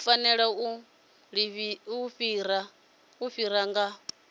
u fanela u ḓifara nga